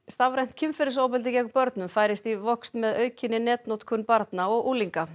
stafrænt kynferðisofbeldi gegn börnum færist í vöxt með aukinni netnotkun barna og unglinga